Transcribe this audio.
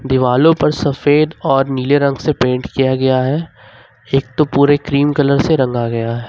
दिवालो पर सफेद और नीले रंग से पेंट किया गया है एक तो पूरे क्रीम कलर से रंगा गया है।